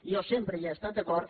i jo sempre hi he estat d’acord